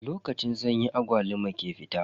Lokacin sanyi agwaluma ke fita.